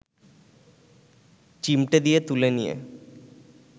চিমটে দিয়ে তুলে নিয়ে